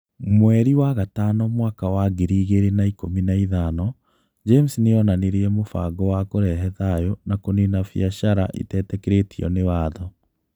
Mweri wa gatano mwaka wa ngiri igĩrĩ na ikũmi na ithano, James nĩ onanirie mũbango wa kũrehe thayũ na kũniina biacaraitetĩkĩrĩtio nĩ watho